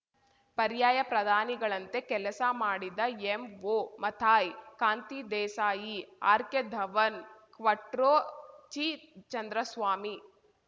ಪರ್ಯಾಯ ಪ್ರಧಾನಿಗಳಂತೆ ಕೆಲಸ ಮಾಡಿದ ಎಂಒಮಥಾಯ್‌ ಕಾಂತಿ ದೇಸಾಯಿ ಆರ್‌ಕೆಧವನ್‌ ಕ್ವಟ್ರೋಚಿ ಚಂದ್ರಸ್ವಾಮಿ